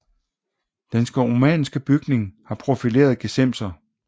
Den romanske bygning har profilerede gesimser